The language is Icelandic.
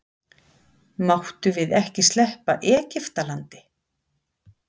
Máttum við ekki sleppa Egiftalandi?